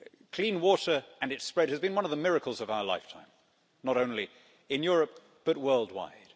Clean water and its spread has been one of the miracles of our lifetime, not only in Europe but world wide.